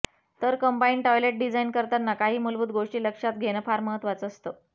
तर combine toilet design करताना काही मूलभूत गोष्टी लक्षात घेणं फार महत्त्वाचं असतं